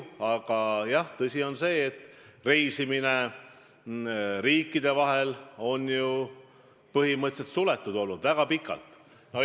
Aga tõsi on see, et reisimine riikide vahel on põhimõtteliselt suletud olnud väga pikalt.